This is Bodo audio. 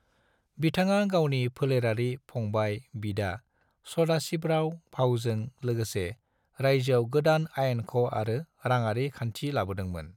बिथाङा गावनि फेलेरारि फंबाइ/बिदा सदाशिवराव भाऊजों लोगोसे रायजोयाव गोदान आयेनख’ आरो राङारि खान्थि लाबोदोंमोन।